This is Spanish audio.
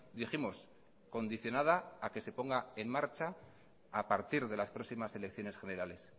dijimos condicionada a que se ponga en marcha a partir de las próximas elecciones generales